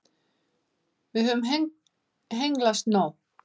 Við höfum hengslast nóg.